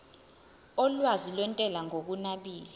olwazi lwentela ngokunabile